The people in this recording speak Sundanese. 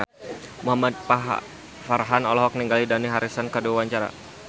Muhamad Farhan olohok ningali Dani Harrison keur diwawancara